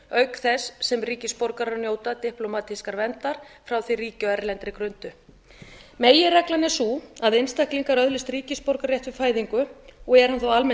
auk þess sem ríkisborgarar njóta diplómatískrar verndar frá því ríki á erlendri grundu meginreglan er sú að einstaklingar öðlast ríkisborgararétt við fæðingu og er hann þá almennt